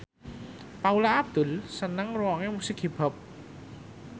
Paula Abdul seneng ngrungokne musik hip hop